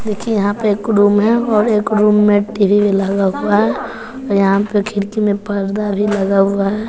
देखिए यहां पर रूम है और एक रूम में टीवी टी_वी लगा हुआ है और यहां पर खिड़की में पर्दा लगा हुआ है।